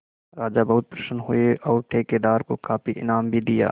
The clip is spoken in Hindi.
राजा बहुत प्रसन्न हुए और ठेकेदार को काफी इनाम भी दिया